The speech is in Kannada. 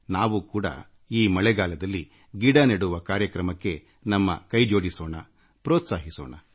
ನಾವು ಕೂಡ ಈ ಮಳೆಗಾಲದಲ್ಲಿ ಗಿಡ ನೆಡುವ ಕಾರ್ಯಕ್ರಮಕ್ಕೆ ನಮ್ಮ ಕೊಡುಗೆ ನೀಡೋಣಪ್ರೋತ್ಸಾಹಿಸೋಣ